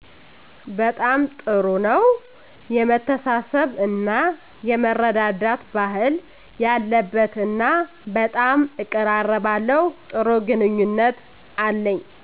በጣም ጥሩ ነው የመተሳሰብ እና የመረዳዳት ባህል ያለበት እና በጣም እቀራለባለሁ ጥሩ ግንኙነት አለኝ